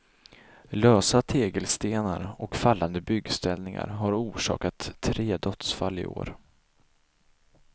Lösa tegelstenar och fallande byggställningar har orsakat tre dödsfall i år.